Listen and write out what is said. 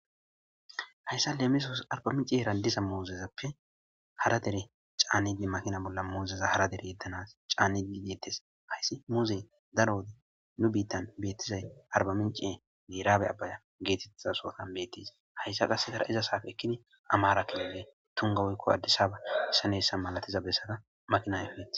hayssa leemisos arbaminciye raldiza muozezappe hara dere caannee makina bolla muuzeza hara dere yeddanas caane geettes hayssi muuzey daro wode nu biittan beettizay arbaminciyenne raabe abbaya geetetha sootan beettis hayssa qassegara iza saafe ekkini amaarakilile tungawoykko addisaba isaneessa malatiza bessada makina efe